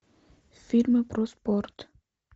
фильмы про спорт